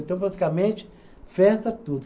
Então, praticamente, festa tudo.